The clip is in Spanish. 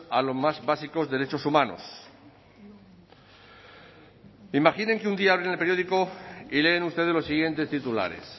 a los más básicos derechos humanos imaginen que un día abren el periódico y leen ustedes los siguientes titulares